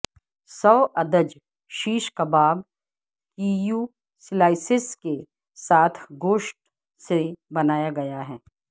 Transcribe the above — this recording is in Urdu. سوادج شش کباب کییو سلائسس کے ساتھ گوشت سے بنایا گیا ہے